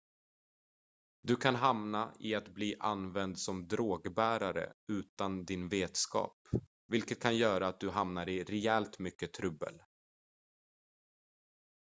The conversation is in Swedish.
du kan hamna i att bli använd som drogbärare utan din vetskap vilket kan göra att du hamnar i rejält mycket trubbel